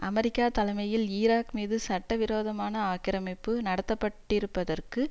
America தலைமையில் Iraq மீது சட்டவிரோதமான ஆக்கிரமிப்பு நடத்தப்பட்டிருப்பதற்கு